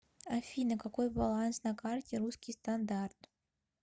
афина какой баланс на карте русский стандарт